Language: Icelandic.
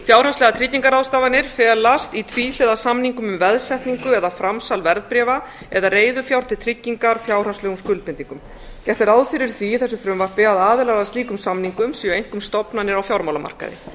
fjárhagslegar tryggingarráðstafanir felast í tvíhliða samningum um veðsetningu eða framsal verðbréfa eða reiðufjár til tryggingar fjárhagslegum skuldbindingum gert er ráð fyrir því í þessu frumvarpi að aðilar að slíkum samningum séu einkum stofnanir á fjármálamarkaði